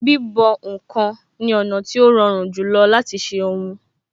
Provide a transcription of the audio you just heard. Bíbọ̀ ǹkan ni ọ̀nà tí ó rọrùn jùlọ láti ṣe ohun